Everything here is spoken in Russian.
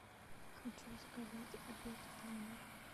хочу заказать обед в номер